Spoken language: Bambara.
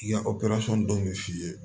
I ka min f'i ye